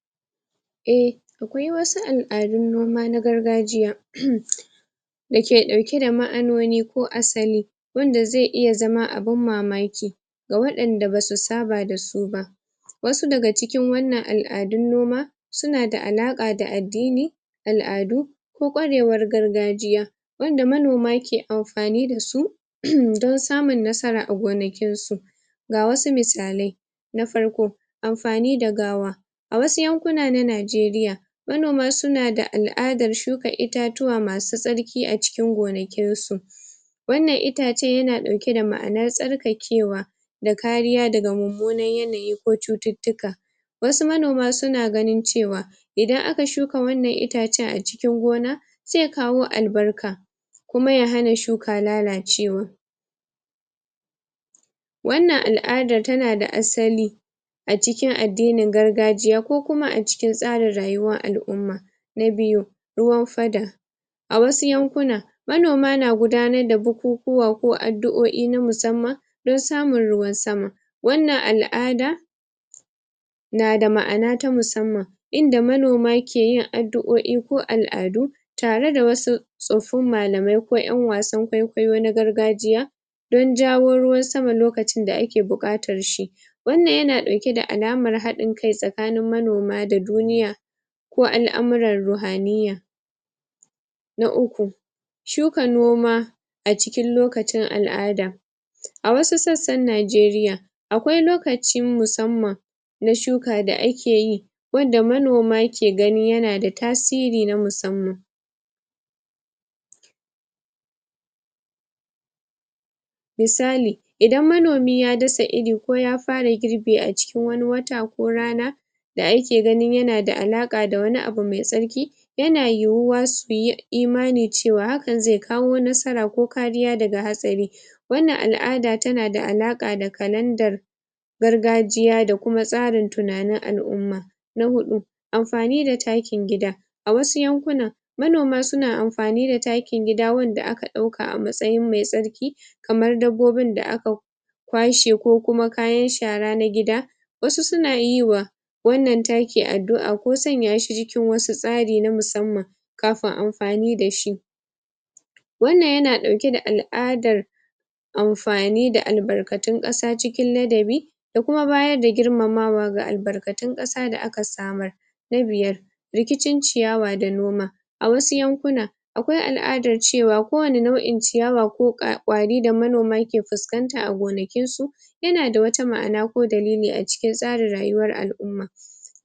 A wasu alamomi akwai ɗabi'un noma da aka ga ga tun zamani ka ka waɗanda ke ɗauke da ma anoni na musamman waɗanda ba kowa ya sanni ba wannan yana nufin cewa hanyoyin noma ba kawai don samar da abinci bane suna da zurfin tarihin ad.. dini da alaƙa da yanayi da cikakken bayani a hausa dabarun gargajiya masu asili wasu al'ummomi suna gudanar da ko ayyuka na musamman kafin fara shuka ko gribi irin waɗannan ayyukan na iya haɗa da addu'o'i waƙoƙin ƙarfi ko wasu alamu dake nuni da girmamawa ga Alloli yanayi ko kakanni wannan ana ganin sa a matsa yin hanya wanda zai sa a amfanin gona ya bunƙasa ma'anoni da tushen ɗabi'un noma waɗannan ɗabi'u suna da asali tarihi da addini, misali wasu lokuta an tsara tsarin shuka ko za ɓan lokacin girbi bisa wasu su alamomi na halitta kabar sauyin yanayi da sauran su wannan ba kawai don samun amfanin gona bane inma tabbatar da cewa anbi al'adar iyaye da kakanni suka gada wanda ke da alaƙa da tsara-tsaren halitta abun mamaki ga baki ga masu zuwa daga waje ko waɗanda basu saba da irin wannan al'adu ba, ganin su na iya zama abun mamaki suna iya ganin cewa ayyukan noma ba kawai aiki na yau da kullum bane amma suna ɓoye ma'ana mai zurfi sabida alaƙa da yini ko tsafi wanda ke da asili umman dake gudanar dasu mahimmancin aiwatar dasu ga manoma dake riƙe da waɗannan al adu, ayyukan suna taimaka kawa wajen tabbatar da cewa an samu haɗin kai tsakanin yanayin ƙasa da kuma al'umma wannan haɗin kan na iya haifar da ƙarin albarka ga gonaki ta hanyar inganta lafiyar ƙasa da yawan amfanin gona duk da cewa sirrin ma'ana ba'a bayyana ga kowa ba a taƙaice wasu ɗabi' un noma na al'ada suna ɓoye asiri ga manomi na musamman wanda su ka samo asali tun daga tsohuwar al'ada wannan na iya kasancewa abun mamaki ga baƙi